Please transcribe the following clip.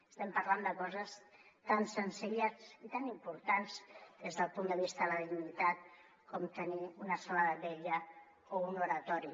estem parlant de coses tan senzilles i tan importants des del punt de vista de la dignitat com tenir una sala de vetlla o un oratori